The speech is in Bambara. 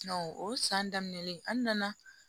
o san daminɛlen an nana